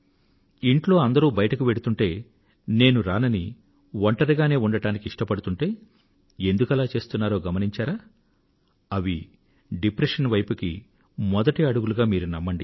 ఇంట్లో అందరూ బయటకు వెళ్తూంటే నేను రానని ఒంటరిగానే ఉండడానికి ఇష్టపడుతుంటే ఎందుకలా చేస్తున్నారో గమనించారా అవి డిప్రెషన్ వైపు మొదటి అడుగులు అని మీరు నమ్మండి